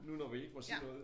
Nu når vi ikke må sige noget